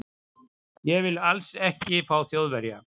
Ég vil ALLS ekki fá Þjóðverja.